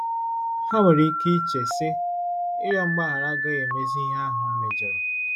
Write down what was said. Ha nwere ike iche, sị, ‘Ịrịọ mgbaghara agaghị emezi ihe ahụ m mejọrọ. '